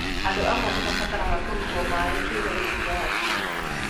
Andũ amwe nĩ mabataraga kũrutwo maĩ kĩĩga-inĩ kĩa hakiri.